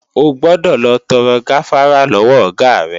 O gbọdọ̀ lọ tọrọ gáfárá lọ́wọ Ọ̀gá rẹ!